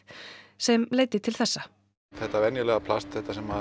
sem leiddi til þessa þetta venjulega plast